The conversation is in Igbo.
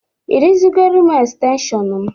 Ị rụzigoro m xtenshịọn m?